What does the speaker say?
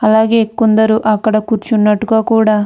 అలాగే కొందరు అక్కడ కుర్చునట్టుగ కూడా --